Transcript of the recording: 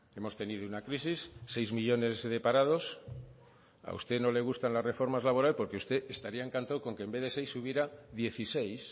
hemos tenido una crisis seis millónes de parados a usted no le gustan las reformas laborales porque usted estaría encantado con que en vez de seis hubiera dieciséis